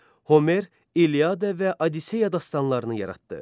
Homer İlyada və Odisseya dastanlarını yaratdı.